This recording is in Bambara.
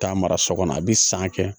Taa mara so kɔnɔ a bɛ san kɛ